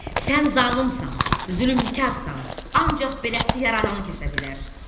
Sən zalımsan, zülmkarsan, ancaq beləcə yaradanı kəsə bilər.